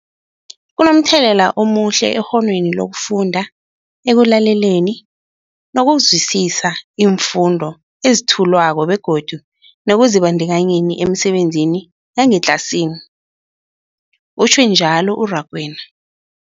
Kunomthelela omuhle ekghonweni lokufunda, ekulaleleni nokuzwisiswa iimfundo ezethulwako begodu nekuzibandakanyeni emisebenzini yangetlasini, utjhwe njalo u-Rakwena.